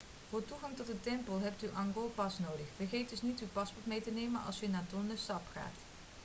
voor toegang tot de tempel hebt u een angkor pass nodig vergeet dus niet uw paspoort mee te nemen als u naar tonle sap gaat